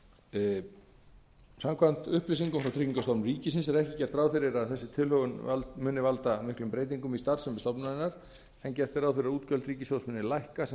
niður samkvæmt upplýsingum frá tryggingastofnun ríkisins er ekki gert ráð fyrir að þessi tilhögun muni valda miklum breytingum í starfsemi stofnunarinnar en gert er ráð fyrir að útgjöld ríkissjóðs muni lækka sem